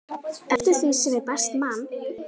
eftir því sem ég best man.